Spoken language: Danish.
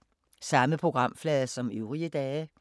Samme programflade som øvrige dage